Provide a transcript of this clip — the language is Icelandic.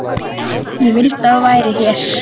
Ég vildi að þú værir hér.